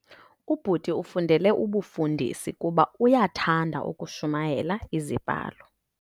Ubhuti ufundele ubufundisi kuba uyathanda ukushumayela iziBhalo.